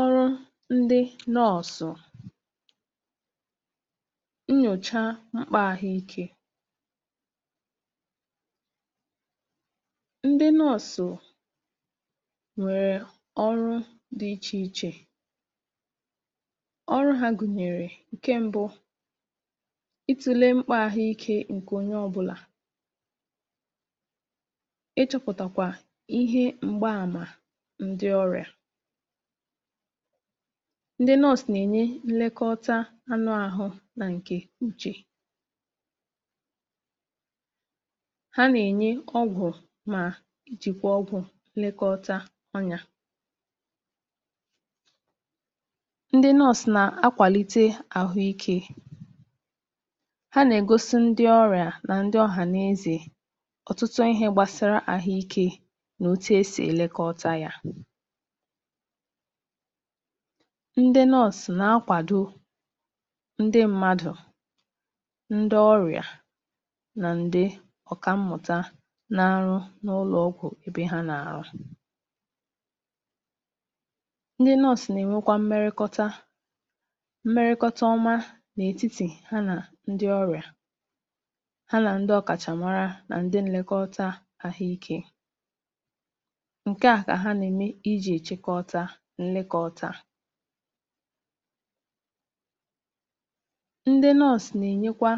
Ọrụ ndị nọọsụ nnyocha mkpa ahụ́ ike. Ndị nọọsụ nwere ọrụ dị iche iche. Ọrụ ha gụnyere: Nke mbụ, ịtule mkpa ahụ́ ike nke onye ọbụla, ịchọpụtakwa ihe mba-ama ndị ọrịa. Ndị nọọsụ na-enye nlekọta anu ahụ́ na nke uche. Ha na-enye ọgwụ ma nchekwa ọhụrụ Ịlekọta anya. Ndị nọọsụ na-akwalite ahụ́ ike; ha na-egosi ndị ọrịa na ndị ọha na eze ọtụtụ ihe gbasara ahụ́ ike na otu a e si elekọta ha. Ndị nọọsụ na-akwado ndị mmadụ, ndị ọrịa na ndị ọkàmmụta n'aru n'ụlọ ọgwụ ebe ha na-arụ. Ndị nọọsụ na-emekwa mmekọta mmekọta ọma n’etiti ha na ndị ọrịa, ha na ndị ọkachamara na ndị elekọta ahụ́ ike. Nke a ha na-eme, e ji echekwaba nlekọta. Ndị nọọsụ na-enyekwa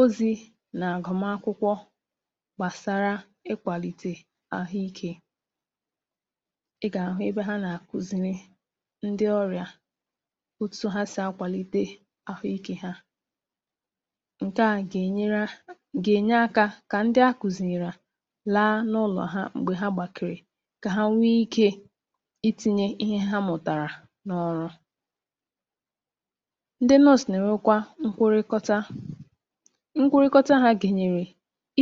ọzị n’agụmagụkwọ gbasara ịkwalite ahụ́ ike. Ị ga-ahụ ebe a na-akụziri ndị ọrịa otu ha si akwalite ahụ́ ike ha. Nke a ga-enyere ga-enye aka ka ndị a kụziiri ha, laa n’ụlọ ha mgbe ha gbakere, ka ha nwee ike itinye ihe a mụtara n’ọrụ. Ndị nọọsụ na-enwekwa nkwurukota; nkwurukota ha ga-enyere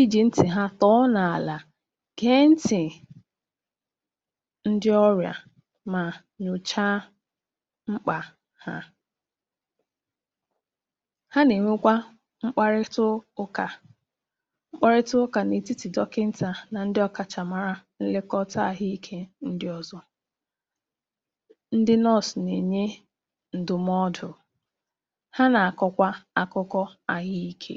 e ji ntị ha tụọ n’ala ga-ege ntị ndị ọrịa ma nyọchaa mkpa ha. Ha na-enwekwa ịkparịta ịkparịta ụka n’etiti dọkịta na ndị ọkachamara n'ịlekọta ahụ́ ike ndị ọzọ. Ndị nọọsụ na-enye ndụmọdụ, a na-akọkwa akụkọ ahụ́ ike.